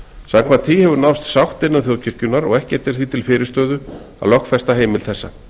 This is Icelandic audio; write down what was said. samkvæmt því hefur náðst sátt innan þjóðkirkjunnar og ekkert er því til fyrirstöðu að lögfesta heimild þessa